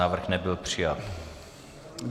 Návrh nebyl přijat.